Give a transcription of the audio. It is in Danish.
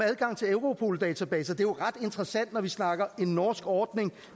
adgang til europol databaser det er jo ret interessant når vi snakker en norsk ordning